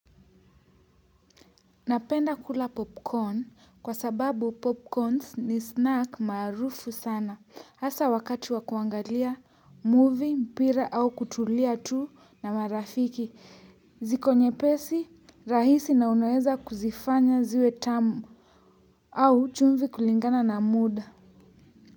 Napenda kula popcorn, kwa sababu popcorn ni snack maarufu sana hasa wakati wa kuangalia movie, mpira au kutulia tu na marafiki. Ziko nyepesi, rahisi na unaweza kuzifanya ziwe tamu. Au chumvi kulingana na muda.